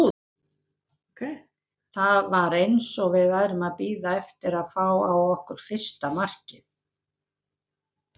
Það var eins og við værum að bíða eftir að fá á okkur fyrsta markið.